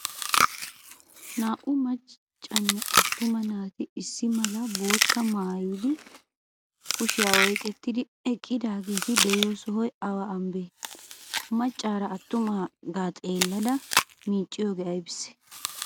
Naa''u maccanne attuma naati issi malaa bottaa maayidi kushiya oyqettidi eqqidageeti de'iyo sohoy awa ambbanee? Macaara attuma xeelladda micciyogee aybisee?